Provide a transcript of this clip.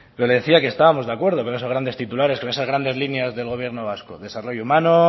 yo le decía que estábamos de acuerdo con esos grandes titulares con esas grandes líneas del gobierno vasco desarrollo humano